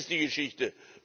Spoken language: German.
Das ist die Geschichte.